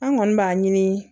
An kɔni b'a ɲini